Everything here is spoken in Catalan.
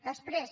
després